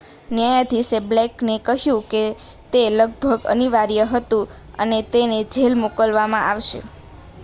"ન્યાયાધીશે બ્લેકને કહ્યું કે તે "લગભગ અનિવાર્ય" હતું અને તેને જેલ મોકલવામાં આવશે.